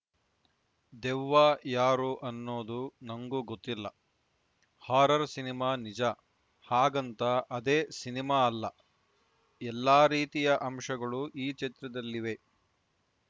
ದೆವ್ವ ಯಾರು ಅನ್ನೋದು ನಂಗೂ ಗೊತ್ತಿಲ್ಲ ಹಾರರ್‌ ಸಿನಿಮಾ ನಿಜ ಹಾಗಂತ ಅದೇ ಸಿನಿಮಾ ಅಲ್ಲ ಎಲ್ಲಾ ರೀತಿಯ ಅಂಶಗಳು ಈ ಚಿತ್ರದಲ್ಲಿವೆ